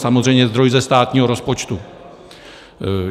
Samozřejmě zdroj ze státního rozpočtu.